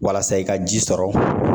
Walasa i ka ji sɔrɔ